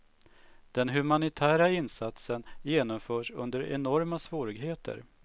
Den humanitära insatsen genomförs under enorma svårigheter.